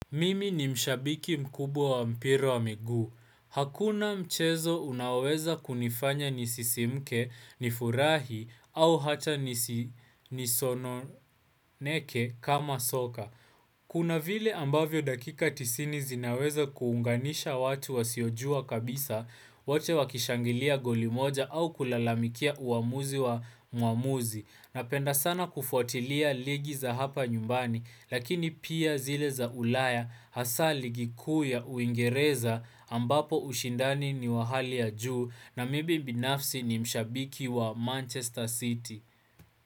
Mimi ni mshabiki mkubwa wa mpira wa miguu. Hakuna mchezo unaoweza kunifanya nisisimke, nifurahi au hata nisononeke kama soka. Kuna vile ambavyo dakika tisini zinaweza kuunganisha watu wasiojua kabisa, wote wakishangilia goli moja au kulalamikia uamuzi wa mwamuzi. Napenda sana kufuatilia ligi za hapa nyumbani lakini pia zile za ulaya hasa ligi kuu ya uingereza ambapo ushindani ni wa hali ya juu na mibi binafsi ni mshabiki wa Manchester City.